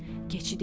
Keçi dedi: